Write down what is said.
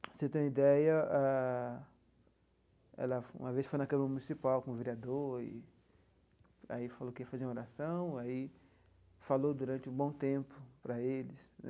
Para você ter uma ideia ah, ela uma vez foi na Câmara Municipal com o vereador, e aí falou que ia fazer uma oração, e aí falou durante um bom tempo para eles.